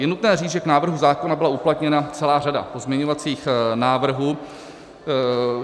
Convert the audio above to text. Je nutné říci, že k návrhu zákona byla uplatněna celá řada pozměňovacích návrhů.